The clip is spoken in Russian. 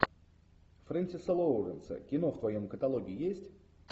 френсиса лоуренса кино в твоем каталоге есть